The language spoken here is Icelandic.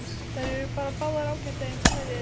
Þær eru bara báðar ágætar eins og þær eru.